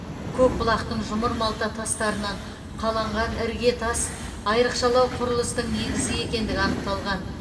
көкбұлақтың жұмыр малта тастарынан қаланған іргетас айрықшалау құрылыстың негізі екендігі анықталған